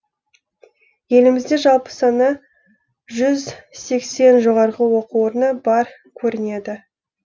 елімізде жалпы саны жүз сексен жоғарғы оқу орны бар көрінеді